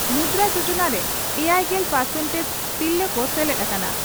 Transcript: ᱢᱩᱫᱽᱨᱟᱹ ᱡᱚᱡᱚᱱᱟ ᱨᱮ ᱮᱭᱟᱭᱜᱮᱞ ᱯᱟᱨᱥᱮᱱᱴᱮᱡᱽ ᱛᱤᱨᱞᱟᱹ ᱠᱚ ᱥᱮᱞᱮᱫ ᱟᱠᱟᱱᱟ ᱾